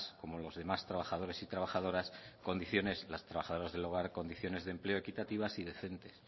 como los demás trabajadores y trabajadoras condiciones de empleo equitativas y decentes